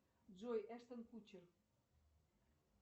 джой эштон кутчер